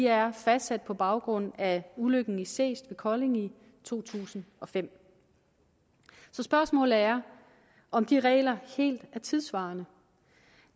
er fastsat på baggrund af ulykken i seest ved kolding i to tusind og fem så spørgsmålet er om de regler helt er tidssvarende